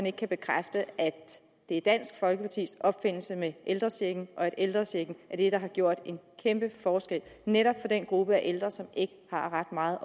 ikke kan bekræfte at det er dansk folkepartis opfindelse med ældrechecken og at ældrechecken er det der har gjort en kæmpe forskel netop for den gruppe ældre som ikke har ret meget